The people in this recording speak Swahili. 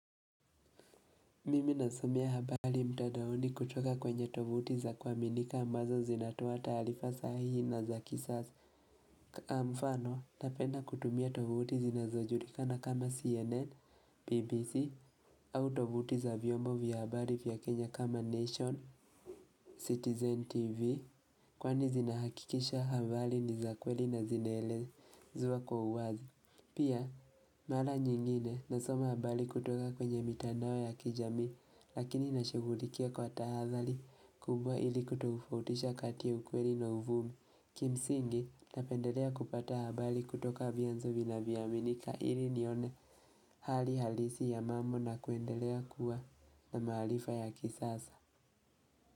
Mimi nasomea habali mtadaoni kutoka kwenye tovuti za kwaminika ambazo zinatoa talifa sahihi na za kisaza. Amfano, napenda kutumia tovuti zinazojulikana kama CNN, BBC, au tovuti za vyombo vya habali vya Kenya kama Nation, Citizen TV, kwani zinahakikisha habali ni za kweli na zinaelezuwa kwa uwazi. Pia, mala nyingine nasoma habali kutoka kwenye mitandao ya kijami lakini nashugulikia kwa tahazali kubwa ili kutogufautisha katia ya ukweli na uvumi. Kimsingi napendelea kupata habali kutoka vianzo vina viyaminika ili nione hali halisi ya mambo na kuendelea kuwa na mahalifa ya kisasa.